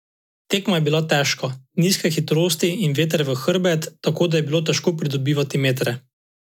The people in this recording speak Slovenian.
Tekma je bila težka, nizke hitrosti in veter v hrbet, tako da je bilo težko pridobivati metre.